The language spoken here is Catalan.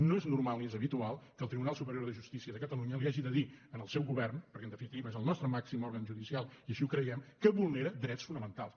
no és normal ni és habitual que el tribunal superior de justícia de catalunya li hagi de dir al seu govern perquè en definitiva és el nostre màxim òrgan judicial i així ho creiem que vulnera drets fonamentals